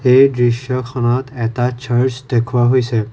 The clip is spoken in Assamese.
এই দৃশ্যখনত এটা চাৰ্চ দেখুওৱা হৈছে।